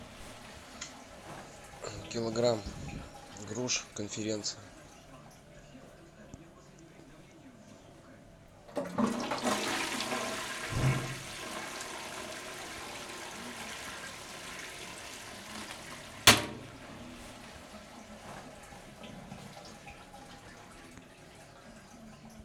килограмм груш конференция